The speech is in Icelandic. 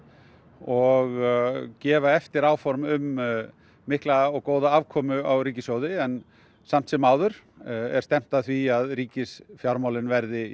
og gefa eftir áform um mikla og góða afkomu á ríkissjóði en samt sem áður er stefnt að því að ríkisfjármálin verði